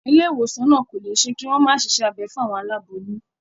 Ilé ìwòsàn náà kò lè ṣe kí wọ́n má ṣiṣẹ́ abẹ fún àwọn aláboyún.